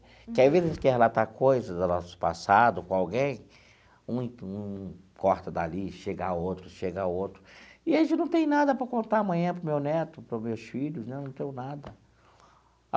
Que, às vezes, a gente quer relatar coisas do nosso passado com alguém, um um corta dali, chega outro, chega outro, e a gente não tem nada para contar amanhã para o meu neto, para os meus filhos né, não tenho nada.